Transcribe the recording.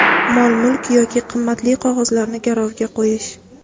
mol-mulk yoki qimmatli qog‘ozlarni garovga qo‘yish;.